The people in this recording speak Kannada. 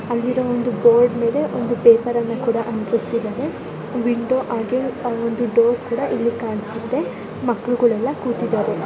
ಅಲ್ಲಿರುವ ಒಂದು ಬೋರ್ಡ ಮೇಲೆ ಒಂದು ಪೇಪರ್ ಅನ್ನು ಕೂಡ ಅಂಟಿಸಿದಾರೆ ವಿಂಡೋ ಹಾಗೆ ಒಂದು ಡೋರ್ ಕೂಡ ಕಾಣ್ಸುತ್ತೆ ಮಕ್ಕ್ಳುಗಳೆಲ್ಲ ಕೂತಿದಾರೆ .